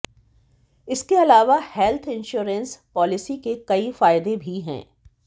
इसके अलावा health insurance policy के कई फायदे भी हैं